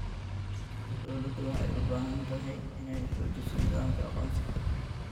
Dawladdu waxay u baahan tahay inay xoojiso nidaamka aqoonsiga.